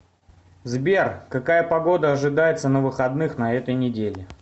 сбер какая погода ожидается на выходных на этой неделе